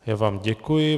Já vám děkuji.